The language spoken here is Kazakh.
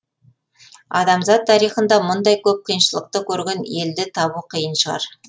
адамзат тарихында мұндай көп қиыншылықты көрген елді табу қиын шығар